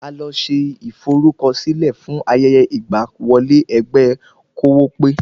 A lọ ṣe ìforúkọsílẹ̀ fún ayẹyẹ ìgbà wọlé ẹgbẹ́ kówópé